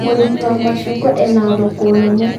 mũrĩmi wa macungwa ena thoko nene